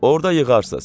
Orda yığarsız.